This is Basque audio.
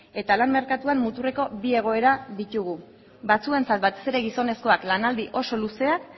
eta lan merkatuan muturreko bi egoera ditugu batzuentzat batez ere gizonezkoak lanaldi oso luzeak